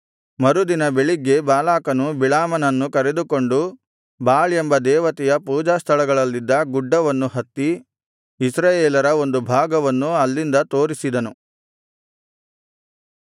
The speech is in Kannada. ಮರುದಿನ ಬೆಳಿಗ್ಗೆ ಬಾಲಾಕನು ಬಿಳಾಮನನ್ನು ಕರೆದುಕೊಂಡು ಬಾಳ್ ಎಂಬ ದೇವತೆಯ ಪೂಜಾಸ್ಥಳಗಳಲ್ಲಿದ್ದ ಗುಡ್ಡವನ್ನು ಹತ್ತಿ ಇಸ್ರಾಯೇಲರ ಒಂದು ಭಾಗವನ್ನು ಅಲ್ಲಿಂದ ತೋರಿಸಿದನು